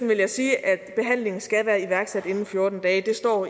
vil jeg sige at behandlingen skal være iværksat inden fjorten dage det står